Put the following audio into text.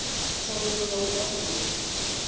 thendelo ya u gwa mugodi